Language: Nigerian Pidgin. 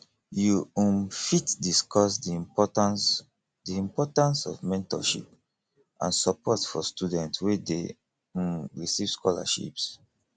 you um fit discuss di importance di importance of mentorship and support for students wey dey um receive scholarships